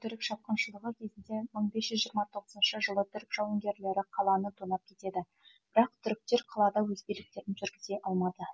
түрік шапқыншылығы кезінде мың бес жүз жиырма тоғызыншы жылы түрік жауынгерлері қаланы тонап кетеді бірақ түріктер қалада өз биліктерін жүргізе алмады